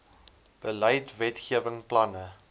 beleid wetgewing planne